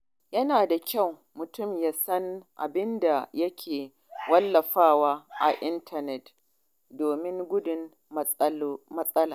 Yana da kyau mutum ya san abin da yake wallafawa a intanet domin gudun matsala.